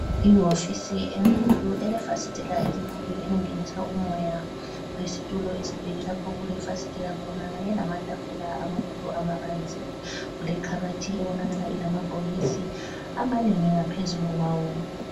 Iwofisi enkulu, elefasitela elikhulu elingenisa umoya lezitulo esibheke lapho okulefasitela khona kanye lamatafula amakhulu amabanzi lekhabothi ebonakala ilamabhokisi amanengi ngaphezulu kwawo.